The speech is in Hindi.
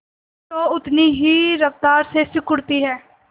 तो उतनी ही रफ्तार से सिकुड़ती है